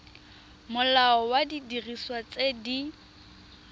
molao wa didiriswa tse di